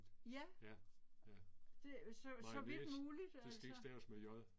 Ja. Det så så vidt muligt altså